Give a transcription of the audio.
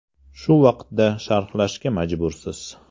Shu vaqtda sharhlashga majbursiz.